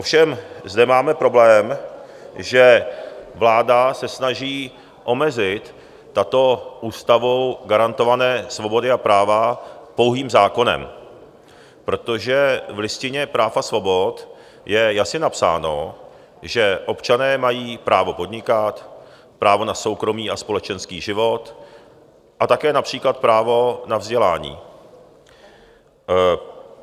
Ovšem zde máme problém, že vláda se snaží omezit tyto ústavou garantované svobody a práva pouhým zákonem, protože v Listině práv a svobod je jasně napsáno, že občané mají právo podnikat, právo na soukromý a společenský život a také například právo na vzdělání.